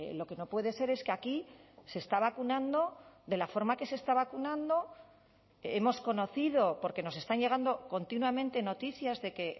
lo que no puede ser es que aquí se está vacunando de la forma que se está vacunando hemos conocido porque nos están llegando continuamente noticias de que